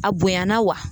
A bonyana wa